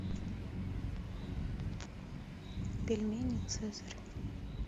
пельмени цезарь